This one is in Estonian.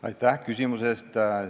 Aitäh küsimuse eest!